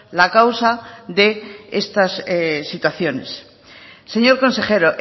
la causa de estas situaciones señor consejero